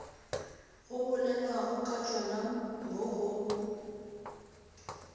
go bolelwagokatšona mo go b